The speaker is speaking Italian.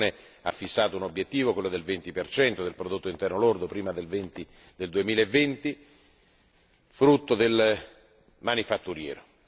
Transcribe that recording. La Commissione ha fissato un obiettivo, quello del venti percento del Prodotto interno lordo, prima del 2020, frutto del manifatturiero.